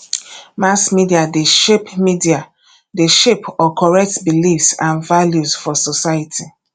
mass media de shape media de shape or correct beliefs and values for society